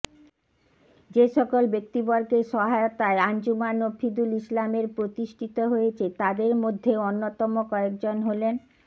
যে সকল ব্যক্তিবর্গের সহায়তায় আঞ্জুমান মফিদুল ইসলামের প্রতিষ্ঠিত হয়েছে তাদের মধ্যে অন্যতম কয়েকজন হলেনঃ